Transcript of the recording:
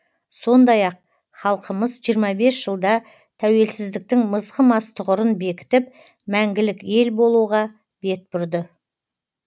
сондай ақ халқымыз жиырма бес жылда тәуелсіздіктің мызғымас тұғырын бекітіп мәңгілік ел болуға бет бұрды